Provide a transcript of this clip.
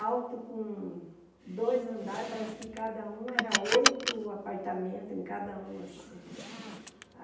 alto, com dois andares, parece que cada um era oito apartamentos, em cada um, assim.